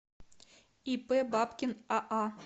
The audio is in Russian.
ип бабкин аа